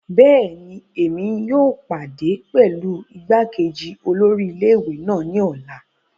Bẹẹni, Èmi yóò pàdé pẹlu igbákejì olórí ilé-ìwé náà ni ọla